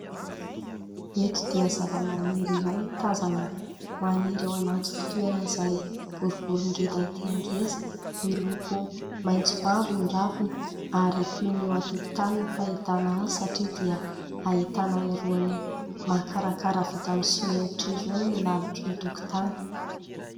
Eto dia zavamaniry iray no tazana maniry ao anaty fitoerana izay boribory ngeza dia ngeza, miloko maitso- mavo ny raviny ary toy ny eo an-tokotany ny fahitana azy satria dia ahitana irony makarakara vita amin'ny simenitr'irony ny lalotry ny tokotany.